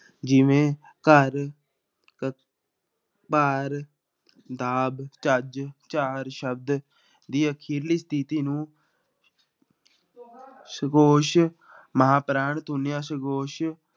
ਜਿਵੇਂ ਘਰ ਭਾਰ, ਦਾਬ, ਚੱਜ, ਚਾਰ ਸ਼ਬਦ ਦੀ ਅਖ਼ੀਰਲੀ ਸਥਿੱਤੀ ਨੂੰ ਸਗੋਸ਼ ਮਹਾਂਪੁਰਾਣ ਧੁਨੀਆਂ ਸਗੋਸ਼